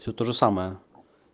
всё тоже самое